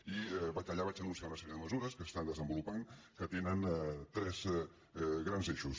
i allà vaig enunciar una sèrie de mesures que s’estan desenvolupant que tenen tres grans eixos